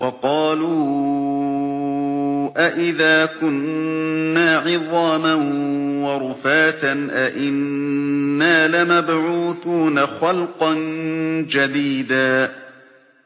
وَقَالُوا أَإِذَا كُنَّا عِظَامًا وَرُفَاتًا أَإِنَّا لَمَبْعُوثُونَ خَلْقًا جَدِيدًا